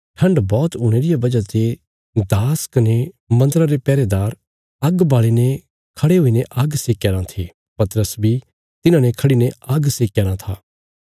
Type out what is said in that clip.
ठण्ड बौहत हुणे रिया वजह ते दास कने मन्दरा रे पैहरेदार आग्ग बाल़ी कने खड़ीने आग्ग सेकया राँ थे पतरस बी तिन्हाने खड़ीने आग्ग सेकया राँ था